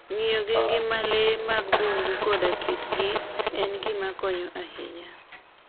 Ng'iyo gi ngima le mag bungu koda kitgi en gima konyo ahinya.